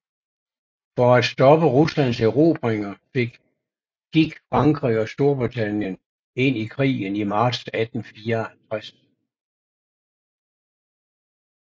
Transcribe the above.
For at stoppe Ruslands erobringer gik Frankrig og Storbritannien ind i krigen i marts 1854